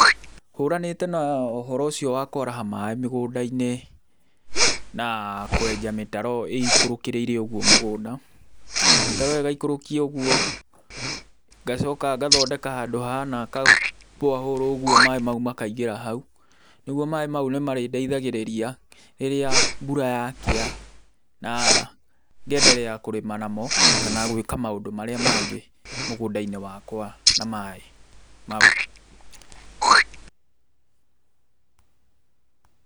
Hũranĩte na ũhoro ũcio wa kwaraha maaĩ mĩgũnda-inĩ na kwenja mĩtaro ĩikũrũkĩrĩire ũguo mũgũnda, mĩtaro ĩyo ĩgaikũrũkio ũguo. Ngacoka ngathondeka handũ hahana ka borehole ũguo maaĩ mau makainmgĩra hau. Nĩguo maaĩ mau nĩ marĩndeithagĩrĩria rĩrĩa mbura yakĩa na ngenderea kũrĩma namo kana gwĩka maũndũ marĩa mangĩ mũgũnda-inĩ wakawa na maaĩ mau.